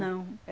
Não,